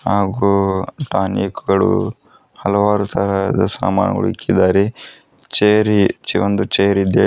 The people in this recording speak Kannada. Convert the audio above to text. ಹಾಗೂ ಟಾನಿಕ್ ಗಳು ಹಲವಾರು ತರಹದ ಸಾಮಾನುಗಳು ಇಕ್ಕಿದ್ದಾರೆ ಚೇರ್ ಈ ಚೆ ಒಂದು ಚೇರ್ ಇದೆ.